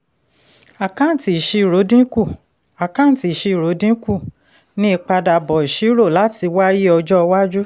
àkáǹtì ìṣirò dínkù àkáǹtì ìṣirò dínkù ní ìpadàbọ̀ ṣírò láti wáyé ọjọ́ iwájú.